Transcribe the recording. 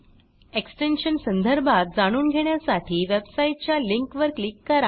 extension संदर्भात जाणून घेण्यासाठी वेबसाईट च्या लिंक वर क्लिक करा